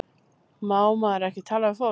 Má maður ekki tala við fólk?